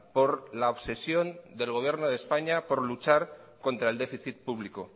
por la obsesión del gobierno de españa por luchar contra el déficit público